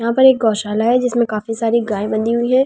यहां पर एक गौशाला है इसमें काफी सारी गाय बंधी हुई हैं।